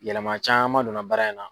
Yɛlɛma caman dɔnna baara in na.